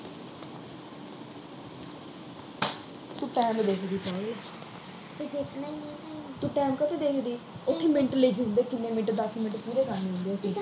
ਤੂੰ time ਦੇਖਦੀ ਸੀ ਉਏ, ਫੇਰ ਦੇਖਣਾ ਹੀ ਆ, ਤੂੰ time ਕਾ ਤੋ ਦੇਖਦੀ ਆ, ਇੱਕ ਮਿੰਟ ਲਈ ਦੱਸੋ ਕਿੰਨੇ ਮਿੰਟ ਦਾ ਦੱਸ ਮਿੰਟ ਪੂਰੇ ਕਰਨੇ ਹੁੰਦੇ ਆ